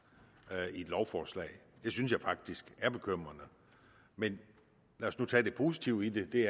i lovforslaget det synes jeg faktisk er bekymrende men lad os nu tage det positive i det det